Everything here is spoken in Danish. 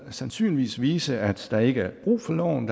vil sandsynligvis vise at der ikke er brug for loven